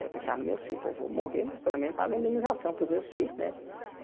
Eu pensava nos meus filhos, pô vou morrer, mas pelo menos pago a indenização para os meus filhos né.